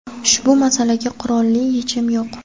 ushbu masalaga qurolli yechim yo‘q.